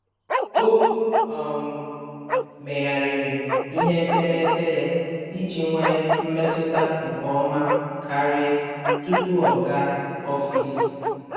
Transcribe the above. O um meregharịrị ihe etemeete ya iji nwee mmetụta nke ọma karị tupu ọ gaa ọfịs.